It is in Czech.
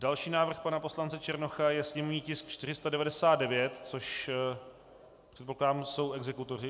Další návrh pana poslance Černocha je sněmovní tisk 499, což, předpokládám, jsou exekutoři.